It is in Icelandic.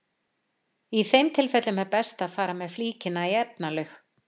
Í þeim tilfellum er best að fara með flíkina í efnalaug.